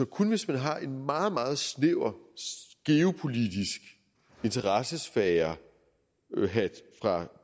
kun hvis man har en meget meget snæver geopolitisk interessesfærehat fra